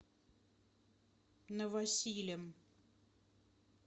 новосилем